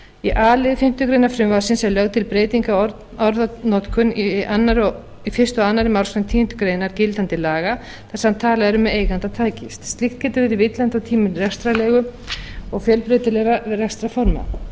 í a lið fimmtu grein frumvarpsins er lögð til breyting á orðanotkun í fyrsta og annarrar málsgreinar tíundu greinar gildandi laga þar sem talað er um eiganda tækis slíkt getur verið villandi á tímum rekstrarleigu og fjölbreytilegra rekstrarforma